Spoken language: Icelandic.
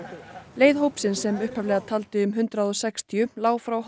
leið hópsins sem upphaflega taldi um hundrað og sextíu lá frá